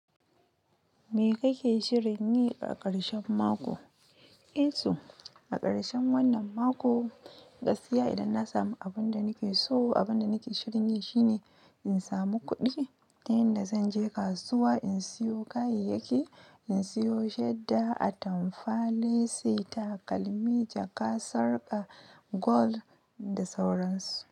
Me kake shirin yi a ƙarshen mako? Eto, a ƙarshen wannan mako gaskiya idan na samu abun da nake so abun da nake shirin yi shine in samu kudi ta inda zan je kasuwa in siyo kayayyaki in siyo shadda, atamfa, leci, takalmi, jaka, sarka, gold da sauransu.